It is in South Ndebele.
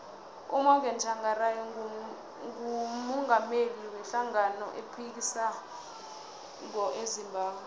umorgan tshangari ngumungameli we hlangano ephikisako ezimbabwe